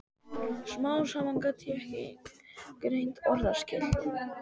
Smám saman gat ég greint orðaskil.